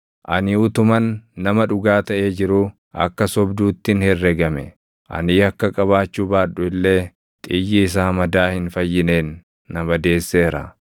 Ani utuman nama dhugaa taʼee jiruu, akka sobduuttin herregame; ani yakka qabaachuu baadhu illee xiyyi isaa madaa hin fayyineen na madeesseera.’